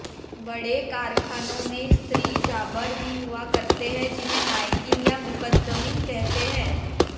बड़े कारखानों में स्त्री जाँबर भी हुआ करते है जिन्हें नायकिन या मुकद्दमिन कहते है